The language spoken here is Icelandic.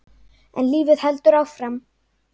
En lífið heldur áfram.